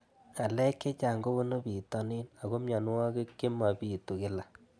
Ng'alek chechang' kopunu pitonin ako mianwogik che mapitu kila